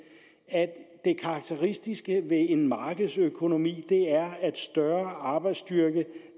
at det karakteristiske ved en markedsøkonomi er at en større arbejdsstyrke